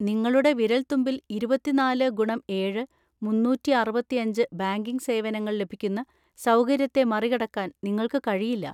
നിങ്ങളുടെ വിരൽത്തുമ്പിൽ ഇരുപത്തിനാല് ഗുണം ഏഴ്, മുന്നൂറ്റി അറുപത്തിയഞ്ച് ബാങ്കിംഗ് സേവനങ്ങൾ ലഭിക്കുന്ന സൗകര്യത്തെ മറികടക്കാൻ നിങ്ങൾക്ക് കഴിയില്ല.